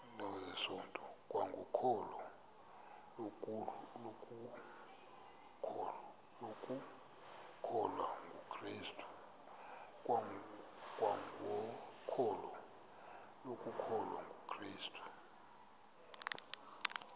kwangokholo lokukholwa kukrestu